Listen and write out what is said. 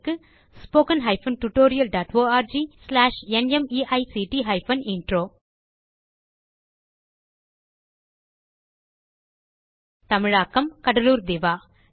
spoken hyphen tutorial dot org slash NMEICT hyphen intro தமிழாக்கம் கடலூர் திவா